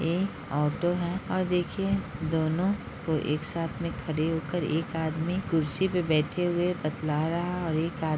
ये ऑटो है और देखिये दोनों को एक साथ में खड़े हो कर एक आदमी कुर्सी पे बैठे हुये बतला रहा और एक आदमी --